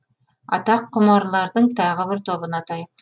аттаққұмарлардың тағы бір тобын атайық